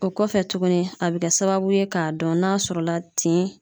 O kɔfɛ tuguni a be kɛ sababu ye k'a dɔn n'a sɔrɔ la tin